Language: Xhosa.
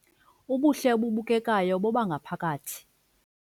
Ubuhle obubukekayo bobangaphakathi